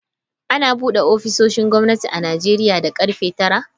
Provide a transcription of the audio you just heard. Ana bude ofisoshin gwamnati a Najeriya da karfe tara.